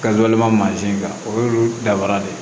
Kabalima mansin kan o y'olu dafara de ye